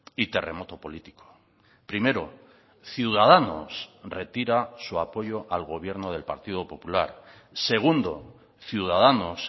y terremoto político primero ciudadanos retira su apoyo al gobierno del partido popular segundo ciudadanos